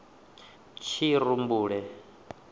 tshirumbule